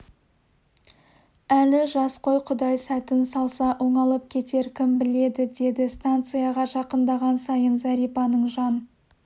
әлі жас қой құдай сәтін салса оңалып кетер кім біледі деді станцияға жақындаған сайын зәрипаның жан